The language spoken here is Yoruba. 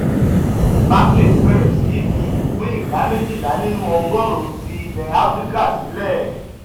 barclays bẹ̀rẹ̀ sí í fi ìpín ìdá méjìlá nínú ọgọ́rùn-ún ti ilẹ̀ áfíríkà sílẹ̀